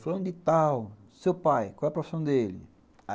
Fulano de tal, seu pai, qual é a profissão dele?